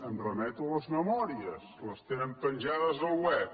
em remeto a les memòries les tenen penjades al web